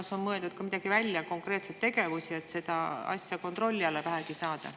Kas on mõeldud välja mingeid konkreetseid tegevusi, et seda asja vähegi kontrolli alla saada?